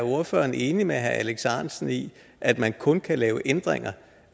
ordføreren er enig med herre alex ahrendtsen i at man kun kan lave ændringer